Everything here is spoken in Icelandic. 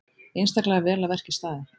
Einstaklega vel að verki staðið.